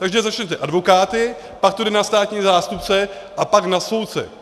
Takže začnete advokáty, pak to jde na státní zástupce a pak na soudce.